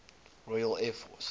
royal air force